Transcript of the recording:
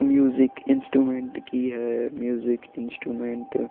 Music instrument की है music instrument.